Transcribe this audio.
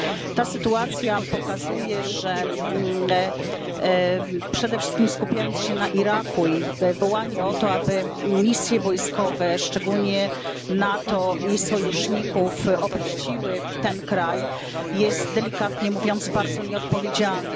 Ta sytuacja pokazuje, że skupianie się przede wszystkim na Iraku i wołanie o to, aby misje wojskowe, szczególnie NATO i sojuszników, opuściły ten kraj, jest delikatnie mówiąc bardzo nieodpowiedzialne.